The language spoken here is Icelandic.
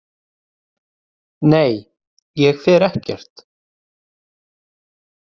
Nei, ég fer ekkert.